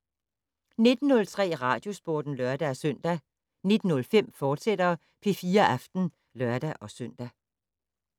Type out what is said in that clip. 19:03: Radiosporten (lør-søn) 19:05: P4 Aften, fortsat (lør-søn)